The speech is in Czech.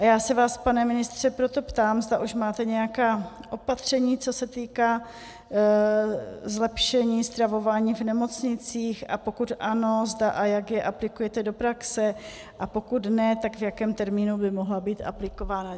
A já se vás, pane ministře, proto ptám, zda už máte nějaká opatření, co se týká zlepšení stravování v nemocnicích, a pokud ano, zda a jak je aplikujete do praxe, a pokud ne, tak v jakém termínu by mohla být aplikována.